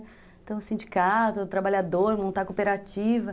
Então sindicato, trabalhador, montar cooperativa.